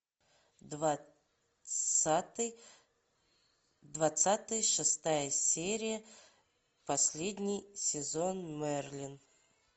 двадцатый двадцатый шестая серия последний сезон мерлин